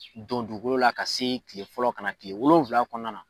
Dɔnku dugukolo la ka se tile fɔlɔ ka na tile wolonwula kɔnɔna na.